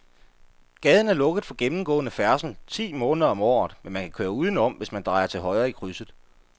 Gaden er lukket for gennemgående færdsel ti måneder om året, men man kan køre udenom, hvis man drejer til højre i krydset.